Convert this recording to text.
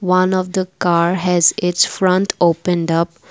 one of the car has its front opened up.